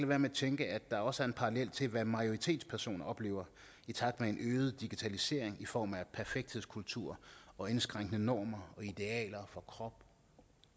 være med at tænke at der også er en parallel til hvad majoritetspersoner oplever i takt med en øget digitalisering i form af perfekthedskultur og indskrænkende normer og idealer for krop